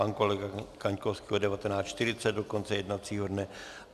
Pan kolega Kaňkovský od 19.40 do konce jednacího dne.